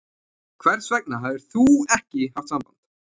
Hvers vegna hafðir ÞÚ ekki haft samband?